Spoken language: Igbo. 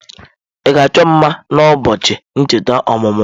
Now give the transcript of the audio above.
Ị ga-achọ m mma na ụbọọchi ncheta ọmụmụ m?